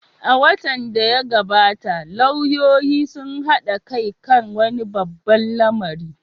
A watan da ya gabata, lauyoyin sun haɗa kai kan wani babban lamari.